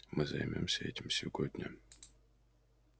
мы займёмся этим сегодня